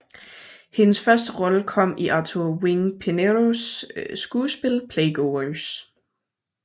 Hendes første rolle kom i Arthur Wing Pineros skuespil Playgoers